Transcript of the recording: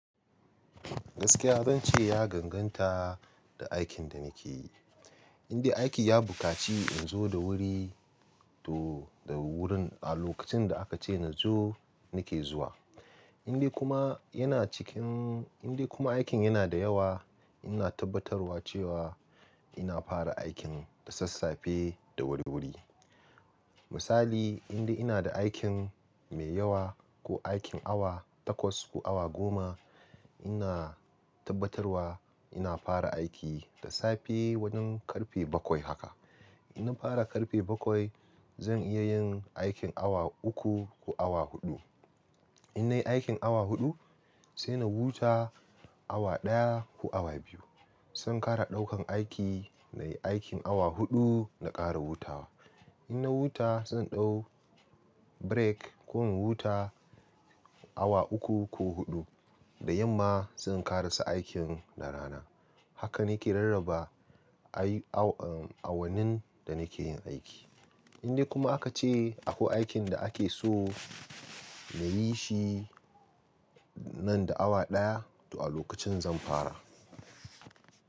Gaskiya zan ce ya danganta da aikin da nake yi. Indai aiki ya bukaci in zo da wuri, to da wurin a lokacin da aka ce nazo nake zuwa. Indai kuma yana cikin-- indai kuma aikin yana da yawa, ina tabbatarwa cewa ina fara aikin da sassafe da wuri-wuri. Misali, indai ina da aikin mai yawa ko aikin awa takwas ko awa goma, ina tabbatarwa ina fara aiki da safe wajen karfe bakwai haka. In na fara karfe bakwai, zan iya yin aikin awa uku ko awa huɗu. In nayi aikin awa huɗu, sai na huta awa ɗaya ko awa biyu. Zan ƙara ɗaukan aiki na yi aikin awa huɗu na ƙara hutawa. In na huta, zan ɗau break ko in huta awa uku ko huɗu. Da yamma zan ƙarasa aikin na rana. Haka nake rarraba awannin da nake yin aiki. Indai kuma aka ce akwai aikin da ake so na yi shi nan da awa ɗaya, to a lokacin zan fara.